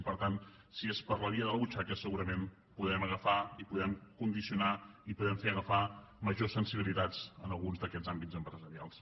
i per tant si és per la via de la butxaca segurament podem agafar i podem condicionar i podem fer agafar majors sensibilitats en alguns d’aquests àmbits empresarials